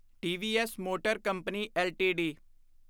TVS motor company LTD